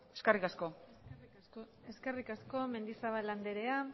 eskerrik asko eskerrik asko mendizabal andrea